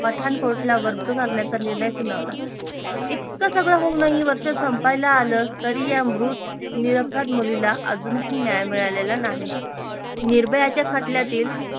पठाणकोठला करण्याचा निर्णय सुनावला इतक सगळ होऊनही वर्ष संपायला आलं तरी या मृत नीर अपराध मुलीला अजूनही न्याय मिळालेला नाही निर्भयाच्या खटल्यातील